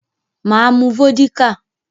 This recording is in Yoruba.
Mà á mu vódíkà.